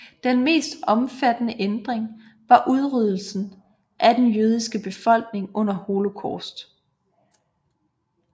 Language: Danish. Den mest omfattende ændring var udryddelsen af den jødiske befolkning under Holocaust